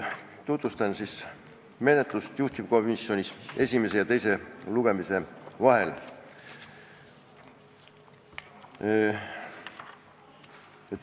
Tutvustan menetlust juhtivkomisjonis esimese ja teise lugemise vahel.